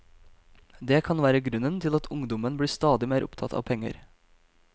Det kan være grunnen til at ungdommen blir stadig mer opptatt av penger.